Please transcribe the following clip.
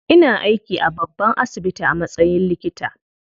Ina aiki a babban asibiti a matsayin likita.